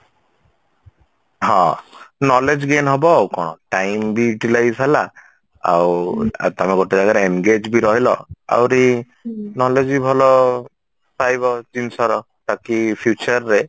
ହଁ knowledge gain ହବ ଆଉ କଣ time ବି Utilize ହେଲା ଆଉ ଆଉ ତମେ ଗୋଟେ ଜାଗାରେ engage ବି ରହିଲ ଆହୁରି knowledge ବି ଭଲ ପାଇବ ଜିନିଷର ତାକି future ରେ